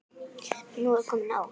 Nú er komið nóg!